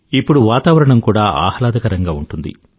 ఇప్పుడు వాతావరణం కూడా ఆహ్లాదకరంగా ఉంటుంది